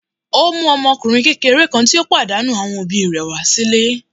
Ó mú ọmọkùnrin kékeré kan tó pàdánù àwọn òbí rẹ̀ wá sílé.